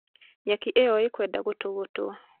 nyeki iyo ĩkwenda gũtũgutwo